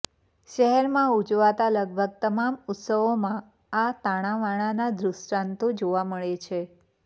શહેરમાં ઉજવાતાં લગભગ તમામ ઉત્સવોમાં આ તાણાવાણાના દૃષ્ટાંતો જોવા મળે છે